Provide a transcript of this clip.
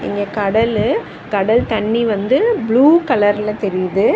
இங்க கடல்லு கடல் தண்ணி வந்து ப்ளூ கலர்ல தெரியுது.